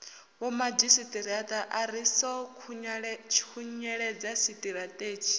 vhomadzhisiṱiraṱa ri ḓo khunyeledza tshiṱirathedzhi